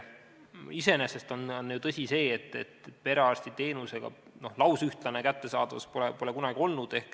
Iseenesest on ju tõsi, et perearstiteenuse lausühtlast kättesaadavust pole kunagi olnud.